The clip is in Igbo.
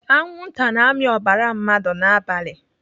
Anwụnta na-amị ọbara mmadụ n'abalị.